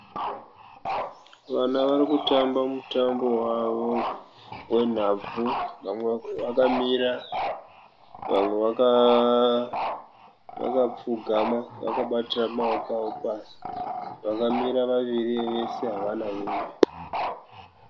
Vana varikutamba mutambo wavo wenhabvu. Vamwe vakamira, vamwe vakapfugama vakabatira maoko avo pasi. Vakamira vaviri vese havana hembe.